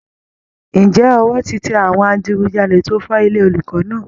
Ǹjẹ́ ọwọ́ ti tẹ àwọn adigujalè tó fọ́ ilé olùkọ́ náà